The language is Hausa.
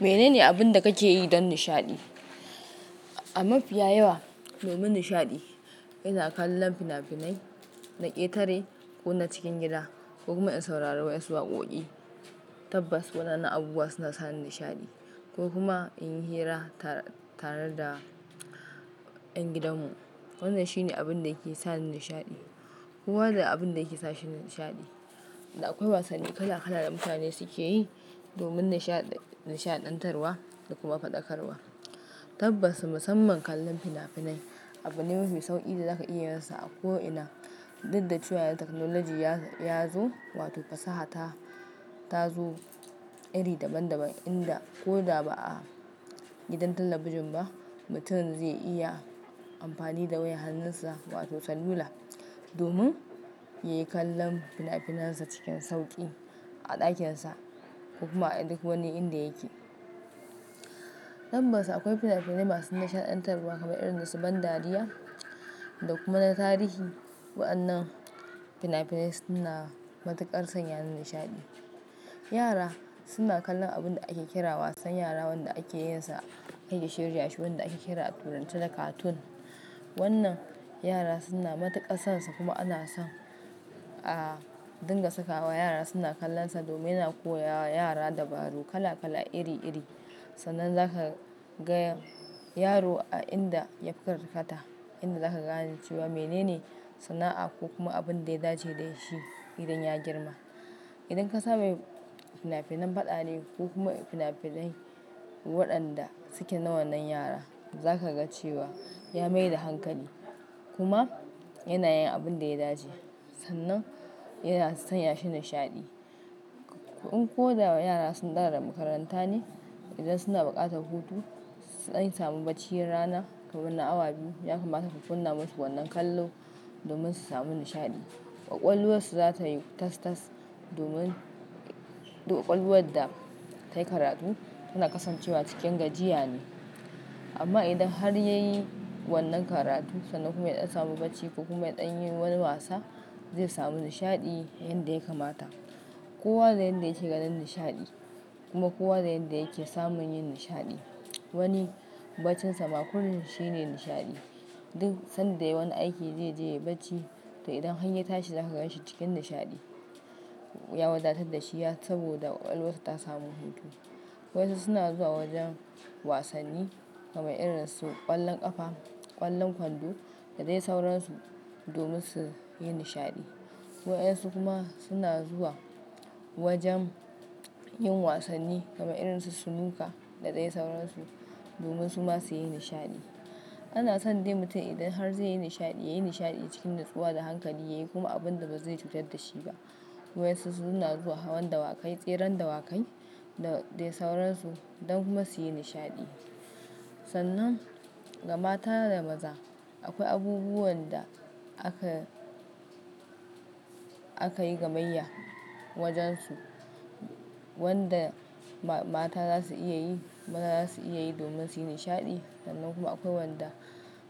Mene ne abin da kake yi don nishaɗi? A mafiya yawa, domin nishaɗi, ina kallon fina-finai na ƙetare ko na cikin gida, ko kuma in saurari wasu waƙoƙi. Tabbas, waɗannan abubuwa suna sa ni nishaɗi, ko kuma in yi hira tare da ƴan gidanmu. Wannan shine abin da yake sa ni nishaɗi. Kowa da abin da yake sa shi nishaɗi, da akwai wasanni kala kala da mutane suke yi domin nishaɗantarwa da kuma faɗakarwa. Tabbas, musamman kallon fina-finai abune mafi sauƙi da zaka iyarsa a ko ina. Diddachiwaya teknolaji ya zo wato fasaha ta zo iri daban-daban inda ko da ba a gidan talabijin ba, mutum zai iya amfani da wayan hannunsa wato salula domin ya yi kallon fina-finansa cikin sauƙi a ɗakinsa ko kuma a duk wani inda yake. Tabbas, akwai fina-finai masu nishaɗantarwa kamar irin su ban dariya da kuma na tarihi. Waɗannan fina-finai suna matuƙar sanya ni nishaɗi. Yara suna kallon abin da ake kira wasan yara wanda ake yinsa ake shirya shi wanda ake kira a turance da cartoon. Wannan yara suna matuƙar sonsa kuma ana son a dinga sakawa yara suna kallonsa domin yana koya wa yara dabaru kala kala iri iri. Sannan za ka ga yaro a inda ya fi karkata inda za ka ga cewa mene ne sana'a ko kuma abin da ya dace da shi idan ya girma. Idan ka same fina-finan faɗa ne ko kuma fina-finai waɗanda suke na wannan yara, za ka ga cewa ya mai da hankali kuma yana yin abin da ya dace. Sannan yana san ya shi nishaɗi. In ko da wa yara sun dawo daga makaranta ne, idan suna buƙatar hutu, an sami baccin rana kamar na awa biyu, ya kamata ku kunna musu wannan kallo domin su sami nishaɗi. Kwakwalwarsu za ta yi tas-tas domin kwakwalwar da ta yi karatu tana kasancewa cikin gajiya ne. Amma idan har ya yi wannan karatu sannan kuma dan samu bacci ko kuma ya ɗan yi wani wasa, zai sami nishaɗi yanda ya kamata. Kowa da yanda yake ganin nishaɗi kuma kowa da yanda yake samun yin nishaɗi. Wani bacinsa ma ko yaushe ne nishaɗi duk sanda ya wani aiki zai je ya yi bacci, to idan hanyye tashi zaka gan shi cikin nishaɗi. Ya wadatar da shi saboda kwakwalwarsa ta samu hutu. Wasu suna zuwa wajen wasanni kamar irin su ƙwallon ƙafa, ƙwallon kwando da dai sauransu domin su yi nishaɗi. Waɗansu kuma suna zuwa wajen yin wasanni kamar irin su snooker da dai sauransu domin su ma su yi nishaɗi. Ana son dai mutum idan har zai yi nishaɗi, ya yi nishaɗi cikin natsuwa da hankali, ya yi kuma abin da ba zai cutar da shi ba. Waɗansu suna zuwa hawan dawakai, tseren dawakai da dai sauransu don kuma su yi nishaɗi. Sannan ga mata da maza akwai abubuwan da aka, aka yi gamayya wajansu. Waɗanda mata za su iya yi, maza za su iya yi domin su yi nishaɗi. Sannan kuma akwai waɗanda